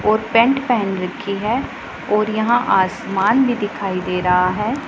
और पैंट पहन रखी है और यहां आसमान भी दिखाई दे रहा है।